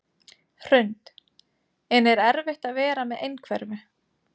Hrund: En er erfitt að vera með einhverfu?